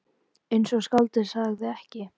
Eins og skáldið sagði ekki.